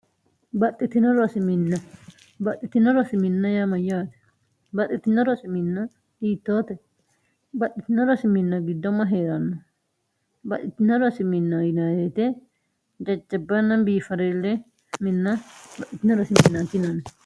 baxxitiorii baxxitino rosiminna yaa mayyaate baxxitino rosi minna diittoote baxxitino rosiminna giddomma hee'ranno baxxitino rosi minna yineete jajcabbanna biifareelle minna baitio rosimin tinanni